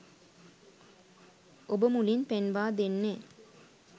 ඔබ මුලින් පෙන්වා දෙන්නේ